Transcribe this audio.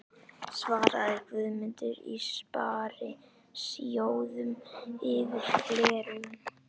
svaraði Guðmundur í Sparisjóðnum yfir gleraugun.